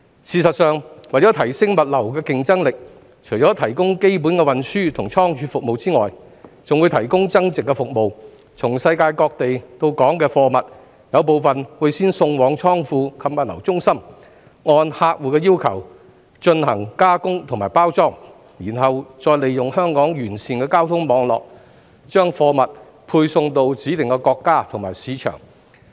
事實上，為提升物流競爭力，除提供基本的運輸及倉儲服務外，還會提供增值服務，從世界各地到港的貨物，有部分會先送往倉庫及物流中心，按客戶要求進行加工及包裝，然後再利用香港完善的交通網絡，把貨物配送到指定國家及市場。